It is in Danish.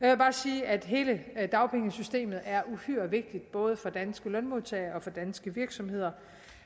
jeg bare sige at hele dagpengesystemet er uhyre vigtigt både for danske lønmodtagere og for danske virksomheder